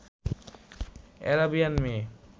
Arabian মেয়ে